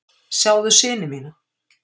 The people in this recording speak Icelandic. Sjáðu syni mína!